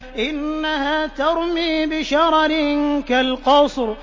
إِنَّهَا تَرْمِي بِشَرَرٍ كَالْقَصْرِ